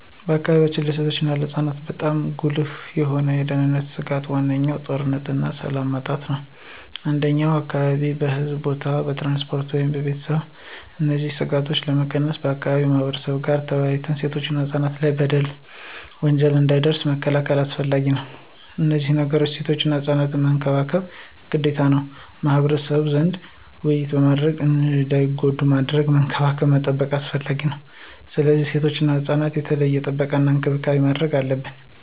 በአካባቢያችን ለሴቶች እና ለህፃናት በጣም ጉልህ የሆኑ የደህንነት ስጋቶች ዋነኛው ጦርነትና ሰላም ማጣት ነው። እንደኛ አካባቢ በሕዝብ ቦታዎች፣ በትራንስፖርት ወይም በቤተሰብ እነዚህን ስጋቶች ለመቀነስ ከአካባቢው ማህበረብ ጋር ተወያይቶ ሴቶችና ህፃናት ላይ በደል፣ ወንጀል እንዳይደርስ መከላከል አስፈላጊ ነው። ከነዚህ ነገሮችም ሴቶችና ህፃናት መንከባከብ ግዴታ ነው። ከማህበረሰቡ ዘንድ ውይይት አድርጎ እንዳይጎዱ ማድረግ፣ መንከባከብ መጠበቅ አስፈላጊ ነው። ስለዚህ ለሴቶችና ህፃናት የተለየ ጥበቃና እንክብካቤ ማድረግ አለብን።